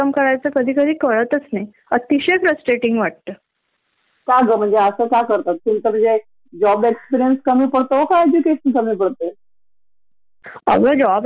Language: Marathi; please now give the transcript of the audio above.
म्हणजे तुमच्याजवळ एवढ क्वालिफिकेशन आहे तर म्हणजे काय झाल म्हणजे काही बॉस प्रोब्लेम आहे, एच.आर. डीपार्टमेंट ची प्रोब्लेम आहे, का कंपनी ची पोलिसी असी आहे काय वाटतंय तुम्हाला अस!